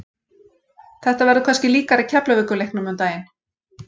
Þetta verður kannski líkara Keflavíkur leiknum um daginn.